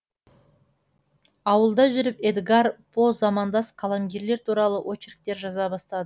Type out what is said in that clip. ауылда жүріп эдгар по замандас қаламгерлер туралы очерктер жаза бастады